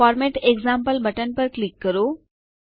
format example button click કરો